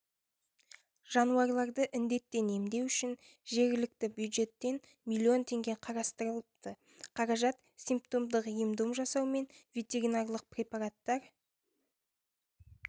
жануарларды індеттен емдеу үшін жергілікті бюджеттен млн теңге қарастырылыпты қаражат симптомдық ем-дом жасау мен ветеринарлық препараттар